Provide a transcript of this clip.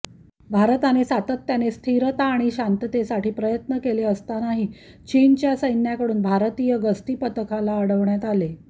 भारताने सातत्याने स्थिरता आणि शांततेसाठी प्रयत्न केले असतानाही चीनच्या सैन्याकडून भारतीय गस्ती पथकाला अडवण्यात आले